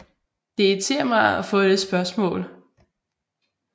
Det irriterer mig at få det spørgsmål